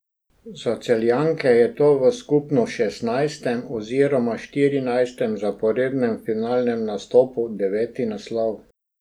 Za Celjanke je to v skupno šestnajstem oziroma štirinajstem zaporednem finalnem nastopu deveti naslov.